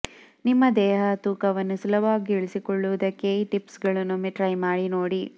ನಿಮ್ಮ ದೇಹ ತೂಕವನ್ನು ಸುಲಭವಾಗಿ ಇಳಿಸಿಕೊಳ್ಳುವುದಕ್ಕೆ ಈ ಟಿಪ್ಸ್ ಗಳನ್ನು ಒಮ್ಮೆ ಟ್ರೈ ಮಾಡಿ ನೋಡಿ